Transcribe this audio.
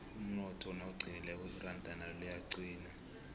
umnotho nawuqinileko iranda nalo liyaqina